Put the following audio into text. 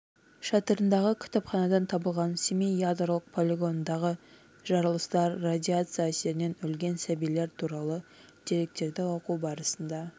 шатырындағы кітапханадан табылған семей ядролық полигонындағы жарылыстар радиация әсерінен өлген сәбилер туралы деректерді оқу барысында